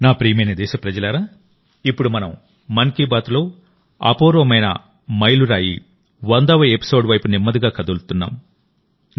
నా ప్రియమైన దేశప్రజలారాఇప్పుడు మనం మన్ కీ బాత్లో అపూర్వమైన మైలురాయి వందవ ఎపిసోడ్ వైపు నెమ్మదిగా కదులుతున్నాం